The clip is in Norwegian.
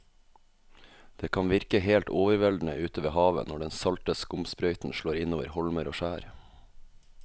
Det kan virke helt overveldende ute ved havet når den salte skumsprøyten slår innover holmer og skjær.